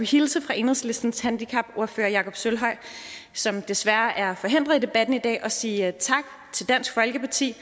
hilse fra enhedslistens handicapordfører jakob sølvhøj som jo desværre er forhindret i debatten i dag og sige tak til dansk folkeparti